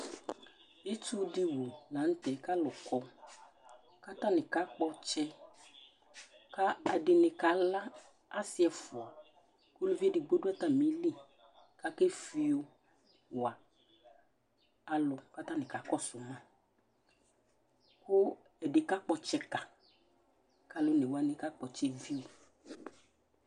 Itsu ɖi wu la ŋtɛ kʋ alu kɔ kʋ ataŋi kakpɔ tsɛ kʋ ɛɖìní kala, asi ɛfʋa Ʋlʋvi ɛɖigbo ɖu atamìli Akefiyo wa alu kʋ ataŋi kakɔsu ma Ɛdí kakpɔ tsɛ ka kʋ alʋ one waŋi kakpɔ ɔtsɛ viyʋ